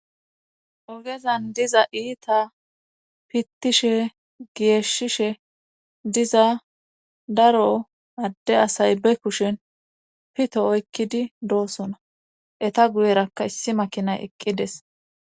Ogezan diza iita pittishe geeshshishe diza daro adde asay be kushin pito oykkidi doosona eta guyerakka issi makinay eqqides.